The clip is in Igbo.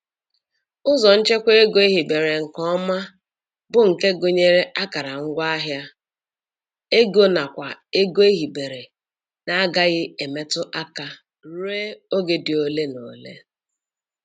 Ụzọ nchekwa ego ehibere nke ọma bụ nke gụnyere akara ngwaahịa, ego nakwa ego ehibere na-agaghị emetu aka ruo oge dị ole na ole.